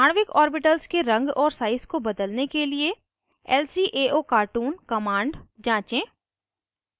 आणविक ऑर्बिटल्स के रंग और साइज को बदलने के लिए lcaocartoon कमांड जाँचें